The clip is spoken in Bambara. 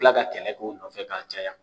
U bɛ tila ka kɛlɛ ko nɔfɛ ka caya.